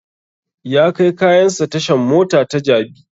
Ya kai kayan sa tashan mota ta jabi